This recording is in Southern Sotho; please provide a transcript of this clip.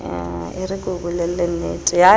e re ke o bolellennete